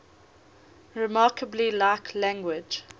remarkably like language